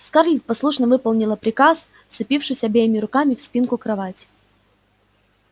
скарлетт послушно выполнила приказ вцепившись обеими руками в спинку кровати